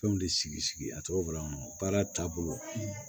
Fɛnw de sigi sigi a tɔgɔ bolo kɔnɔ baara taabolo